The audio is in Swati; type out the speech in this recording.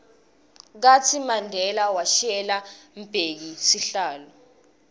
kartsi mandela washiyela mbheki sihlalo